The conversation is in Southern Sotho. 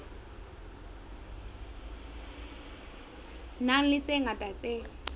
nang le tse ngata tse